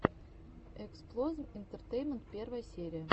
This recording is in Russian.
эксплозм интертеймент первая серия